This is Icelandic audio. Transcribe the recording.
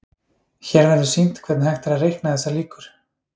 Hér verður sýnt hvernig hægt er að reikna þessar líkur.